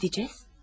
Nereye gedəcəyik?